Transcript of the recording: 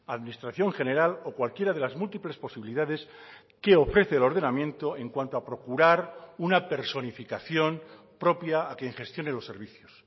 administración general o cualquiera de las múltiples posibilidades que ofrece el ordenamiento en cuanto a procurar una personificación propia a quien gestione los servicios